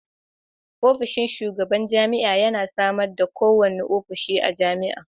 Ofishin shugaban jami'a yana sama da kowane ofishi a jami'a.